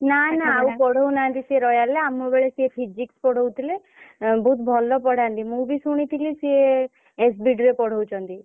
ନା ନା ଆଉ ପଢଉନାହାନ୍ତି ସିଏ royal ରେ ଆମ ବେଳେ ସିଏ Physics ପଢଉଥିଲେ। ଆଁ ବହୁତ୍ ଭଲ ପଢାନ୍ତି। ମୁଁ ବି ଶୁଣିଥିଲି ସିଏ SBD ରେ ପଢଉଛନ୍ତି।